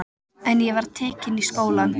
En ég var tekin í skólann.